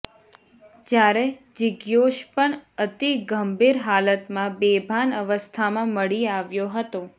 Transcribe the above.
જ્યારે જિજ્ઞોશ પણ અતિ ગંભીર હાલતમાં બેભાન અવસ્થામાં મળી આવ્યો હતો